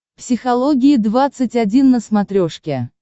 психология двадцать один на смотрешке